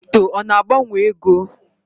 Kripto ọ na-agbanwe ego?